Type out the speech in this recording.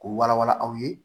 K'u wala wala aw ye